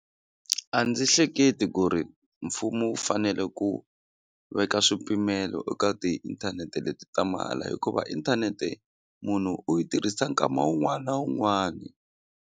A ndzi hleketi ku ri mfumo wu fanele ku veka swipimelo eka tiinthanete leti ta mahala hikuva inthanete munhu u yi tirhisa nkama wun'wani na wun'wani.